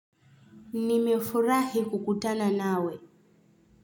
Nimefurahi kukutana nawe.